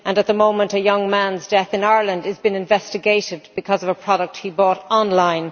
At the moment a young man's death in Ireland is being investigated because of a product he bought online.